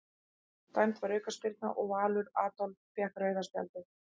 Dæmd var aukaspyrna og Valur Adolf fékk rauða spjaldið.